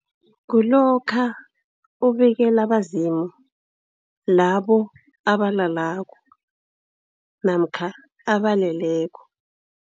Kulokha ubikela abezimu, labo abalalako namkha abaleleko.